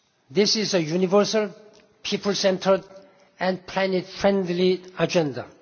SDGs. This is a universal, people centred and planet friendly agenda.